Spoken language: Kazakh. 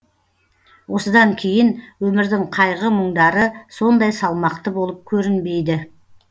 осыдан кейін өмірдің қайғы мұңдары сондай салмақты болып көрінбейді